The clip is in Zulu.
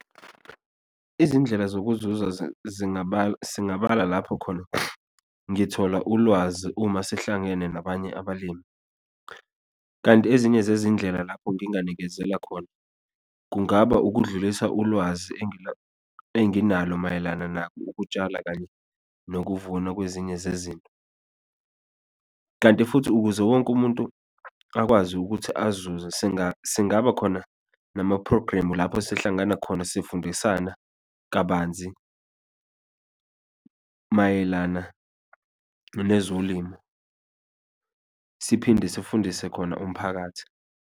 Izindlela zokuza singabala lapho khona ngithola ulwazi uma sihlangene nabanye abalimi, kanti ezinye zezindlela lapho nginganikezela khona, kungaba ukudlulisa ulwazi enginalo mayelana nako ukutshala kanye nokuvuna kwezinye zezinto, kanti futhi ukuze wonke umuntu akwazi ukuthi azuze, singabakhona namaphrogremu, lapho sihlangana khona, sifundisana kabanzi mayelana nezolimo, siphinde sifundise khona umphakathi.